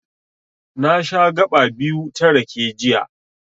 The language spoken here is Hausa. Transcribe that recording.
Na sha gaɓa biyu ta rake, jiya.